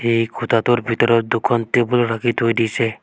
এই খুটাটোৰ ভিতৰত দুখন টেবুল ৰাখি থৈ দিছে।